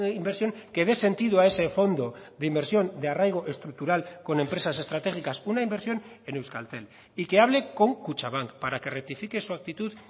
inversión que dé sentido a ese fondo de inversión de arraigo estructural con empresas estratégicas una inversión en euskaltel y que hable con kutxabank para que rectifique su actitud